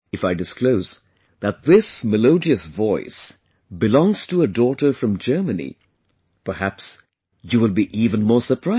If I disclose that this melodious voice belongs to a daughter from Germany, perhaps you will be even more surprised